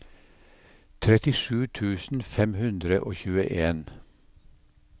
trettisju tusen fem hundre og tjueen